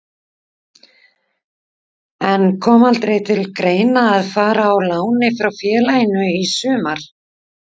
En kom aldrei til greina að fara á láni frá félaginu í sumar?